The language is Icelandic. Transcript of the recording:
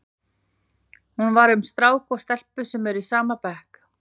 Hún var um strák og stelpu sem eru í sama bekk.